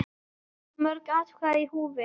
Of mörg atkvæði í húfi?